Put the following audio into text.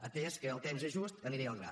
atès que el temps és just aniré al gra